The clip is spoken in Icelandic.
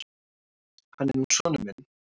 Hann er nú sonur minn.